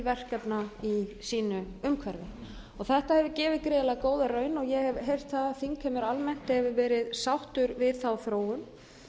verkefna í sínu umhverfi þetta hefur gefið gríðarlega góða raun ég hef heyrt það að þingheimur almennt hefur verið sáttur við þá þróun